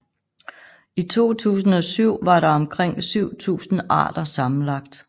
I 2007 var der omkring 7000 arter sammenlagt